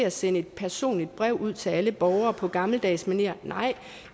at sende et personligt brev ud til alle borgere på gammeldags manér nej